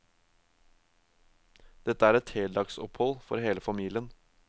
Dette er et heldagsopphold for hele familien.